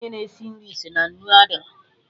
Onye na-esi nri si na nnu adịrọ